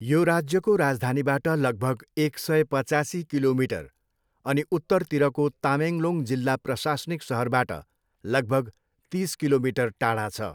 यो राज्यको राजधानीबाट लगभग एक सय पचासी किलोमिटर अनि उत्तरतिरको तामेङलोङ जिल्ला प्रशासनिक सहरबाट लगभग तिस किलोमिटर टाढा छ।